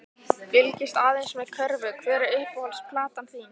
Fylgist aðeins með körfu Hver er uppáhalds platan þín?